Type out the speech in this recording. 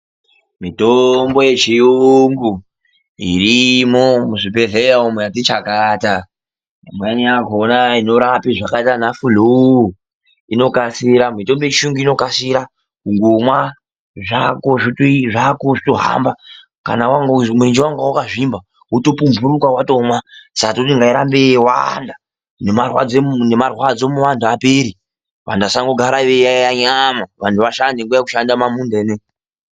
Mitombo yechiyungu, irimwo muzvibhedhlera umwo yatichakata. Imweni yakhona inorapa zvakaita ana besha inokasira. Mitombo yechiyungu inokasira kundophuza zvako zvotohamba. Kana murenje wanga wakazvimba, kundomwa woto pumphuruka. Saka tinoti ngairambe yeiwanda, ne marwadzo muanthu apere. Vanthu vasandogara veiyayeya nyama, vanthu vashande nguwa ye kushanda mumamunda ineyi.